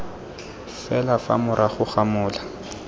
fela fa morago ga mola